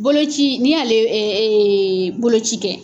Boloci n'i y'ale boloci kɛ.